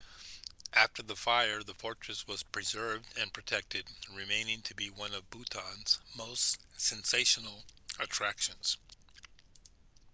after the fire the fortress was preserved and protected remaining to be one of bhutan's most sensational attractions